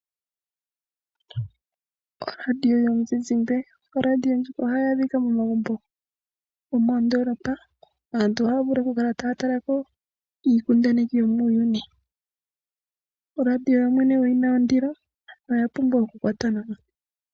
Oradio yomuzizimba ohayi adhika momagumbo gomoondolopa. Aantu ohaya vulu oku kala taya talako iikundaneki yomuuyuni . Oradio yoyene oyina ondilo onkene oya pumbwa okukwatwa nawa.